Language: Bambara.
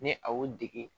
Ni a y'o dege